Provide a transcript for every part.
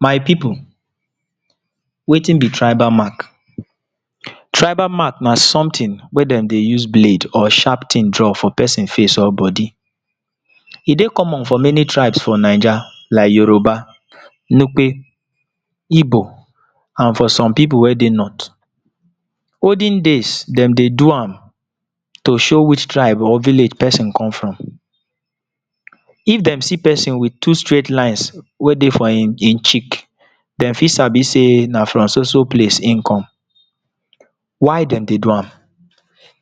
My pipu, wetin be tribal mark? Tribal mark na something wey de dey use blade or sharp thing draw for pesin face or body. E dey common for many tribes for 9ja like Yoruba, Nupe, Igbo and for some pipu wey dey north. Olden days, de dey do am to show which tribe or village pesin come from. If de see pesin with two straight lines wey dey for im e cheek, de fit sabi sey na from so so place im come. Why de dey do am?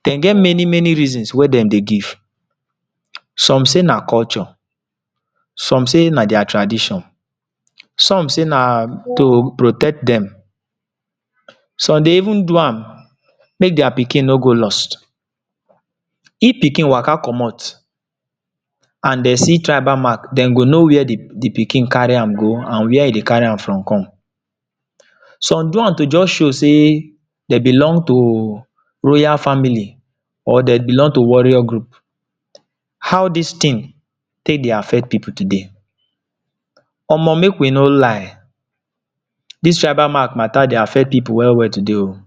De get many many reasons wey dem dey give. Some say na culture, some say na their tradition, some say na to protect dem, some dey even do am make their pikin no go lost. If pikin waka comot and de see tribal mark, de go know where the the pikin carry am go and where e dey carry am from come. Some do am to just show sey dem belong to royal family or dem belong to warrior group. How dis thing take dey affect pipu today? Omo, make we no lie. Dis tribal mark matter dey affect pipu well well today oh.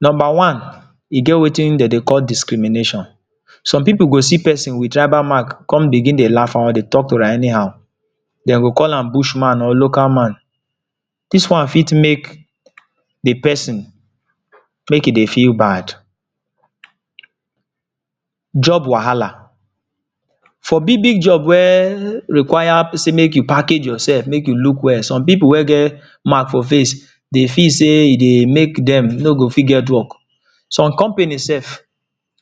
Number one, e get wetin de dey call discrimination. Some pipu go see pesin with tribal mark, con begin dey laugh or dey talk to am anyhow. De go call am bushman or local man. Dis one fit make the pesin, make e dey feel bad. Job wahala, for big big job were require pesin make you package yourself, make you look well. Some pipu wey get mark for face, dey feel sey e dey make dem no go fit get work. Some company self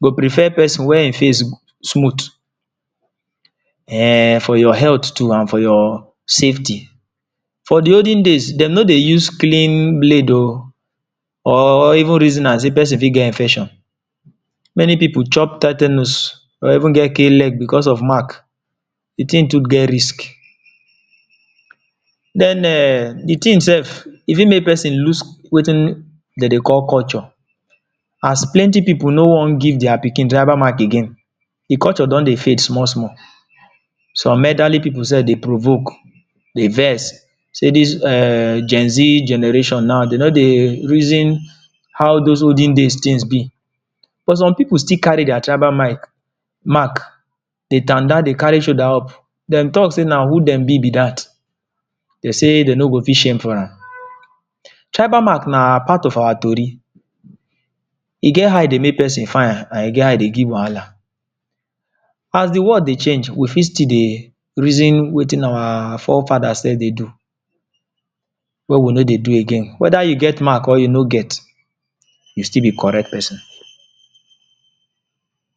go prefer pesin wey im face smooth. um For your health too and for your safety. For the olden days, de no dey use clean blade oh or even reason na sey pesin fit get infection. Many pipu chop titanus or even get K-leg becos of mark. The thing too get risk. Den um the thing self, e fit make pesin loose wetin de dey call culture. As plenty pipu no want give their pikin tribal mark again. The culture don dey fade small small. Some elderly pipu self dey provoke, dey vex sey dis um Gen Z generation now, they no dey reason how those olden days things be. But some pipu still carry their tribal mark dey tanda, dey carry shoulder up. De talk sey na who dem be, be dat. De sey de no go fit shame for am. Tribal mark na part of our tori. E get how e dey make pesin fine and e get how e dey give wahala. As the world dey change, we fit still dey reason wetin our forefather self dey do wey we no dey do again. Whether you get mark or you no get, you still be correct pesin.